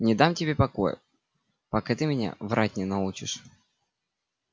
не дам тебе покоя пока ты меня врать не научишь